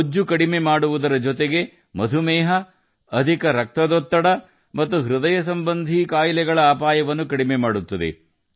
ಬೊಜ್ಜು ಕಡಿಮೆ ಮಾಡುವುದರ ಜೊತೆಗೆ ಮಧುಮೇಹ ಅಧಿಕ ರಕ್ತದೊತ್ತಡ ಮತ್ತು ಹೃದಯ ಸಂಬಂಧಿ ಕಾಯಿಲೆಗಳ ಅಪಾಯವನ್ನು ಕಡಿಮೆ ಮಾಡುತ್ತದೆ